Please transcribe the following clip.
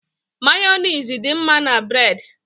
Mayonezi dị mma na bréd